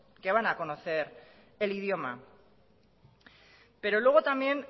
que van a conocer el idioma pero luego también